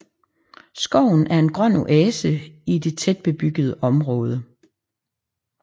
Skoven er en grøn oase i det tætbebyggede område